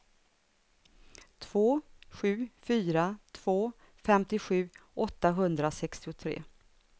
två sju fyra två femtiosju åttahundrasextiotre